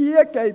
Hier geht es